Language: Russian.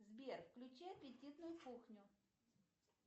сбер включи аппетитную кухню